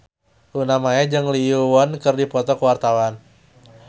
Luna Maya jeung Lee Yo Won keur dipoto ku wartawan